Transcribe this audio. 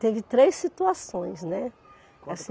Teve três situações, né?